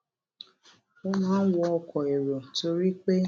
ó máa ń wọ ọkò èrò torí pé